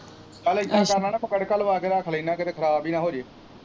ਨਾਲੇ ਇਦਾਂ ਕਰਨਾ ਨਾ ਤੜਕਾ ਤੁੜਕਾ ਲੁਆ ਕੇ ਰੱਖ ਲੈਣਾ ਕਿਤੇ ਖਰਾਬ ਹੀ ਨਾ ਹੋਜੇ।